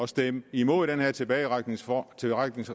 stemmer imod den her tilbagetrækningsreform